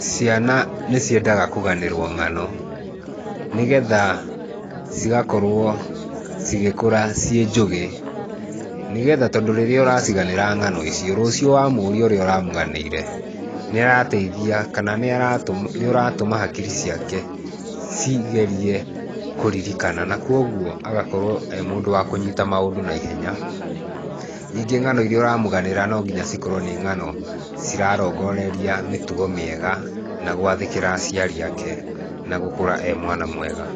Ciana nĩ ciendaga kũganĩrwo ng'ano nĩgetha cigakorwo cigĩkũra ciĩ njũgĩ, nĩgetha, tondũ rĩrĩa ũraciganĩra ng'ano icio, rũciũ wa mũũria ũrĩa ũramũganĩire, nĩ arateithia kana nĩ ũratũma hakiri ciake cigerie kũririkana, na kwoguo agakorwo e mundũ wa kũnyita maũndũ naihenya. Nyingĩ ng'ano iria ũramũganĩra no nginya cikorwo nĩ ng'ano cirarongoreria mĩtugo mĩega na gũathĩkĩra aciari ake, na gũkũra e mwana mwega.